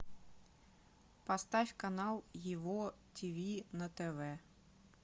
поставь канал его ти ви на тв